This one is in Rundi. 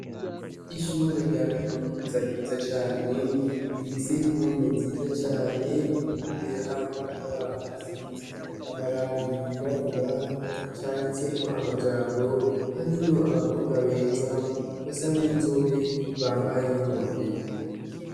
Ishure rya kaminuza ryiza cane, rifise impome nziza cane, imbere hari ikibaho gisize amarangi yirabura, canditse ko amajambo, harimwo abakobwa beza basa n'inzobe, bambaye n'inkofero.